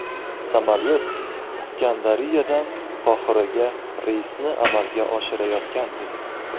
Samolyot Iskandariyadan Qohiraga reysni amalga oshirayotgan edi.